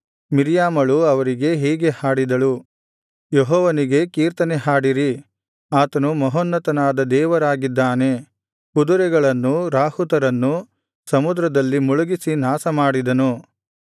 ಮಿರ್ಯಾಮಳು ಅವರಿಗೆ ಹೀಗೆ ಹಾಡಿದಳು ಯೆಹೋವನಿಗೆ ಕೀರ್ತನೆ ಹಾಡಿರಿ ಆತನು ಮಹೋನ್ನತನಾದ ದೇವರಾಗಿದ್ದಾನೆ ಕುದುರೆಗಳನ್ನೂ ರಾಹುತರನ್ನೂ ಸಮುದ್ರದಲ್ಲಿ ಮುಳುಗಿಸಿ ನಾಶಮಾಡಿದನು